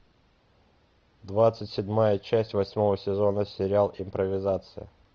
двадцать седьмая часть восьмого сезона сериал импровизация